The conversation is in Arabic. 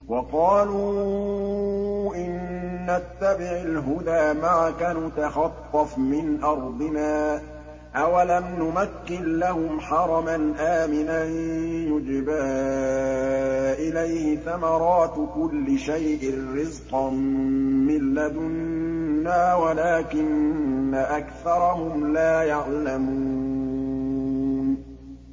وَقَالُوا إِن نَّتَّبِعِ الْهُدَىٰ مَعَكَ نُتَخَطَّفْ مِنْ أَرْضِنَا ۚ أَوَلَمْ نُمَكِّن لَّهُمْ حَرَمًا آمِنًا يُجْبَىٰ إِلَيْهِ ثَمَرَاتُ كُلِّ شَيْءٍ رِّزْقًا مِّن لَّدُنَّا وَلَٰكِنَّ أَكْثَرَهُمْ لَا يَعْلَمُونَ